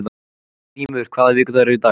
Grímey, hvaða vikudagur er í dag?